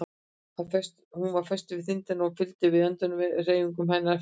Hún er föst við þindina og fylgir því öndunarhreyfingum hennar eftir.